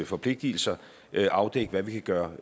forpligtelser afdække hvad vi kan gøre